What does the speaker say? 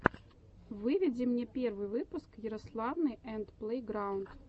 выведи мне первый выпуск ярославы энд плэйграунд